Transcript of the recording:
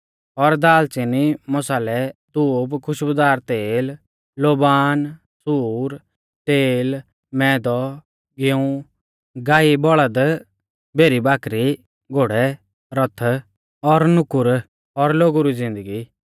और दाल़च़िनी मसालै धूप खुशबुदार तेल लोबान सूर तेल मैदौ गिऊं गाईबौल़द भेरीबाकरी घोड़ै रथ और नुकुर और लोगु री ज़िन्दगी